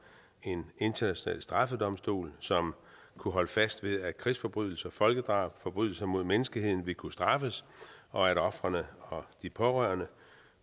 en international straffedomstol som kunne holde fast ved at krigsforbrydelser folkedrab og forbrydelser mod menneskeheden ville kunne straffes og at ofrene og de pårørende